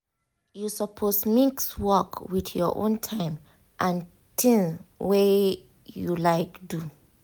you suppose mix work with your own time and tings wey you like do.